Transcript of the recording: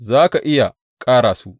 Za ka iya ƙara su.